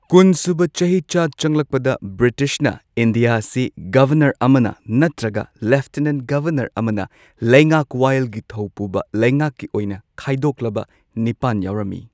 ꯀꯨꯟ ꯁꯨꯕ ꯆꯍꯤꯆꯥ ꯆꯪꯂꯛꯄꯗ ꯕ꯭ꯔꯤꯇꯤꯁꯅ ꯏꯟꯗꯤꯌꯥ ꯑꯁꯤ ꯒꯚꯔꯅꯔ ꯑꯃꯅ ꯅꯠꯇ꯭ꯔꯒ ꯂꯦꯐꯇꯦꯅꯦꯟꯠ ꯒꯚꯔꯅꯔ ꯑꯃꯅ ꯂꯩꯉꯥꯛ ꯋꯥꯌꯦꯜꯒꯤ ꯊꯧ ꯄꯨꯕ ꯂꯩꯉꯥꯛꯀꯤ ꯑꯣꯏꯅ ꯈꯥꯏꯗꯣꯛꯂꯕ ꯅꯤꯄꯥꯟ ꯌꯥꯎꯔꯝꯏ꯫